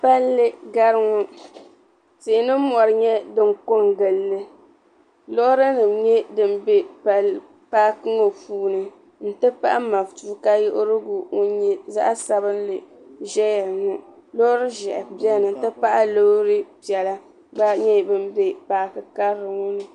Palli gari ŋɔ tihi ni mɔri nyɛ din ko n-gili li loorinima nyɛ din be paaki ŋɔ puuni nti pahi matuka yiɣirigu ŋun nyɛ zaɣ'sabinli n-ʒeya ŋɔ loori ʒɛhi beni nti pahi loori piɛla ka nyɛ bin be paaki karili ŋɔ ni.